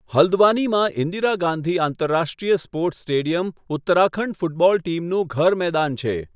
હલ્દવાનીમાં ઈન્દિરા ગાંધી આંતરરાષ્ટ્રીય sports stadium Uttarakhand football ટીમનું ઘર મેદાન છે.